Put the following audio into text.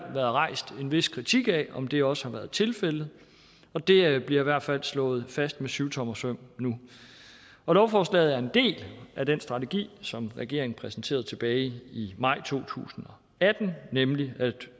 rejst en vis kritik af om det også har været tilfældet og det bliver i hvert fald slået fast med syvtommersøm nu og lovforslaget er en del af den strategi som regeringen præsenterede tilbage i maj to tusind og atten nemlig at